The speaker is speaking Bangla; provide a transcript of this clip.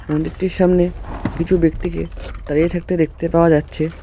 মন্দিরটির সামনে কিছু ব্যক্তিকে দাঁড়িয়ে থাকতে দেখতে পাওয়া যাচ্ছে।